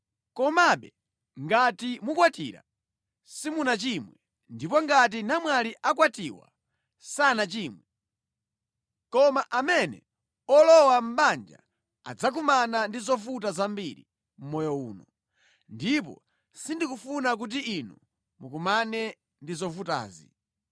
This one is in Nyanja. Komabe ngati mukwatira simunachimwe; ndipo ngati namwali akwatiwa sanachimwenso. Koma amene walowa mʼbanja adzakumana ndi zovuta zambiri mʼmoyo uno, ndipo sindikufuna kuti inu mukumane ndi zovutazi.